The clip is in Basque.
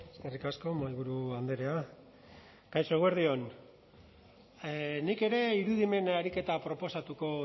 eskerrik asko mahaiburu andrea kaixo eguerdi on nik ere irudimen ariketa proposatuko